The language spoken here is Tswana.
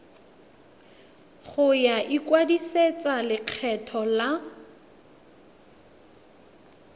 ya go ikwadisetsa lekgetho la